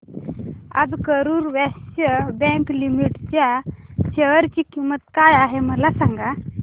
आज Karur Vysya bank limited च्या share ची किंमत काय आहे मला सांगा